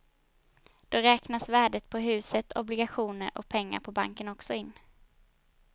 Då räknas värdet på huset, obligationer och pengar på banken också in.